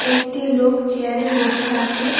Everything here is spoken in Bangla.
একটি লোক চেয়ারে বসে আছে।